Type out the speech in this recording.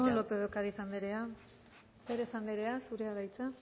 planteado eskerrik asko lópez de ocariz anderea pérez anderea zurea da hitza